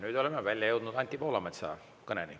Nüüd oleme välja jõudnud Anti Poolametsa kõneni.